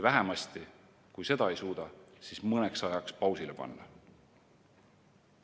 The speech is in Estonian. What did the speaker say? Või kui seda ei suuda, siis vähemasti mõneks ajaks pausile panna.